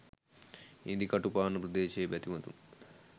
ඉඳිකටුපාන ප්‍රදේශයේ බැතිමතුන්